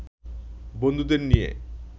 বন্ধুদের নিয়ে